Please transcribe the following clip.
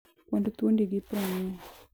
kwand thuondi gi prang`wen.